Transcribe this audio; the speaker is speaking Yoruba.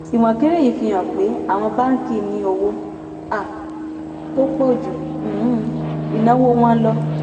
ìwọ̀n kéré yìí fi hàn pé àwọn báńkì ní owó um tó pọ̀ ju um ìnáwó wọn lọ.